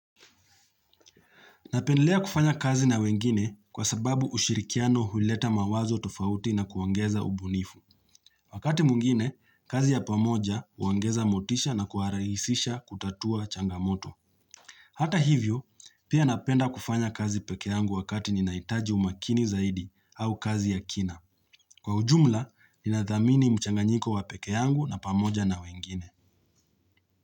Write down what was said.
Napendelea kufanya kazi na wengine kwa sababu ushirikiano huleta mawazo tofauti na kuangeza ubunifu. Wakati mwngine, kazi ya pamoja uangeza motisha na kuaraisisha kutatua changamoto. Hata hivyo, pia napenda kufanya kazi peke yangu wakati ninaitaji umakini zaidi au kazi ya kina. Kwa ujumla, ninathamini mchanganyiko wa peke yangu na pamoja na wengine.